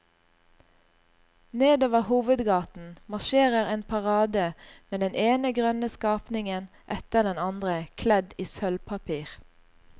Nedover hovedgaten marsjerer en parade med den ene grønne skapningen etter den andre kledd i sølvpapir.